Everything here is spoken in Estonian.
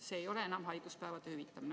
See ei ole enam haiguspäevade hüvitamine.